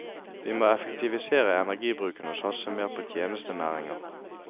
Vi må effektivisere energibruken og satse mer på tjenestenæringer.